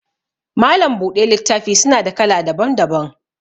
Malam buɗe littafi suna da kala daban daban